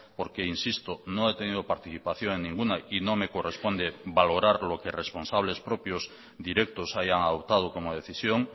porque insisto no he tenido participación en ninguna y no me corresponde valorar lo que responsables propios directos hayan adoptado como decisión